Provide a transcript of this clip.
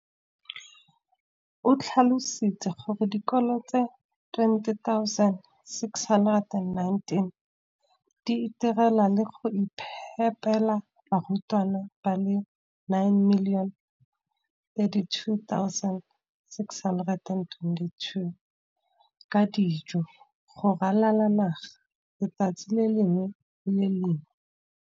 O tlhalositse gore dikolo di le 20 619 di itirela le go iphepela barutwana ba le 9 032 622 ka dijo go ralala naga letsatsi le lengwe le le lengwe.